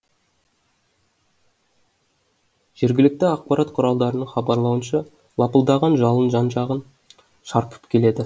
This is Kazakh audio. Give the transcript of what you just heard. жергілікті ақпарат құралдарының хабарлауынша лапылдаған жалын жан жағын шарпып келеді